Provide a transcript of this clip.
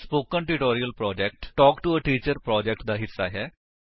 spoken tutorial project talk to a teacher project ਦਾ ਹਿੱਸਾ ਹੈ